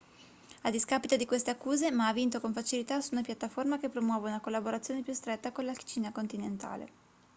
a discapito di queste accuse ma ha vinto con facilità su una piattaforma che promuove una collaborazione più stretta con la cina continentale